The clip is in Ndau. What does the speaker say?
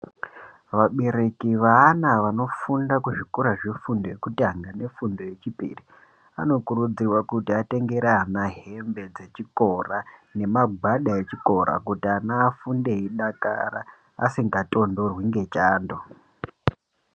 Vabereki weana wefunda kuzvikora zvefundo yekutanga nefundo yechipiri anokurudzirwa kuti atengere ana hembe dzechikora nemagwada echikora kuti vana vafunde eidakara asingatonhorwi ngechando.